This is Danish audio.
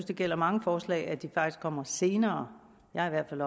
det gælder mange forslag at de kommer senere jeg har i hvert